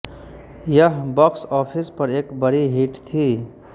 यह box office पर एक बड़ी हिट थी